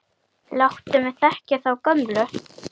Láttu mig þekkja þá gömlu!